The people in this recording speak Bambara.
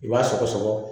I b'a sɔgɔsɔgɔ